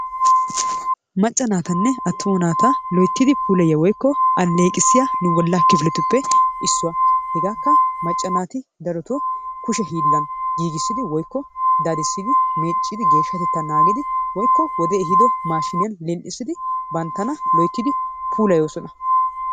Macca naatanne attuma naata loyttidi puulayiya woykko alleeqissiya bollaa kifiletuppe issuwa. Hegaakka macca naati darotoo kushe hiillan giigissidi woykko dadissidi meeccidi geeshshatettaa naagidi woykko wodee ehiido maashiniyan lil"isidi banttana loyttidi puulayoosona.